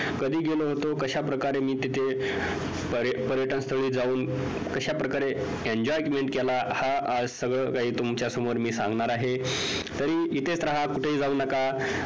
कधी गेलो होतो. कशाप्रकारे मी तिथे पर्य पर्यटनस्थळी जाऊन कशाप्रकारे enjoyment केला हा आज सगळं काही आज मी तुमच्या समोर सांगणार आहे तरीही इथेच राहू कुठेही जाऊ नका